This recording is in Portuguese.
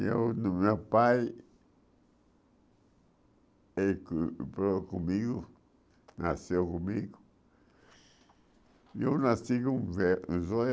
E o do meu pai, ele comigo, nasceu comigo, e eu nasci com o ve os olhos